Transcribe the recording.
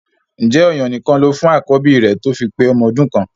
Ǹjẹ́ ọ̀yàn nìkan lo fún àkọ́bí rẹ tó fi pé ọmọ ọdún kan?